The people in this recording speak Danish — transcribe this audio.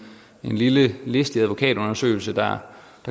lille listig advokatundersøgelse der